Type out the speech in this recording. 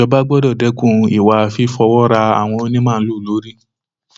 ìjọba gbọdọ dẹkun ìwà fífọwọ ra àwọn onímaalùú lórí